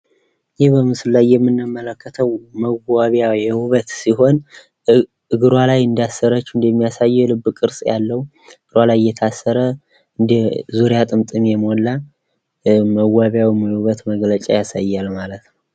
ይህ በምስሉ ላይ የምንመለከተው መዋቢያ የውበት ሲሆን እግሯ ላይ እንዳሰረችው እንደሚያሳየው የልብ ቅርጽ ያለው እግሯ ላይ የታሰረ እንደ ዙሪያ ጥምጥም የሞላ መዋቢያ ወይም የውበት መግለጫ ያሳያል ማለት ነው።